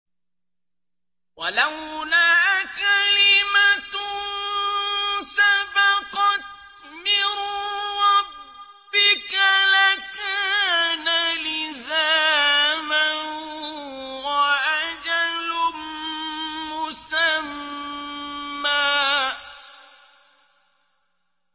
وَلَوْلَا كَلِمَةٌ سَبَقَتْ مِن رَّبِّكَ لَكَانَ لِزَامًا وَأَجَلٌ مُّسَمًّى